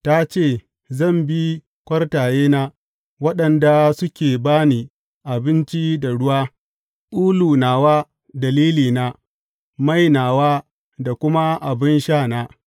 Ta ce, Zan bi kwartayena, waɗanda suke ba ni abinci da ruwa, ulu nawa da lilina, mai nawa da kuma abin sha na.’